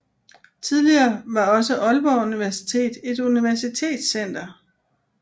Tidligere var også Aalborg Universitet et universitetscenter